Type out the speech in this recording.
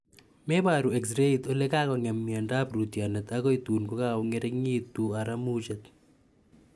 Meparu exrait olekikong'em miando ap rootyonet akoi tuun kakong'ering'itu aramuchet .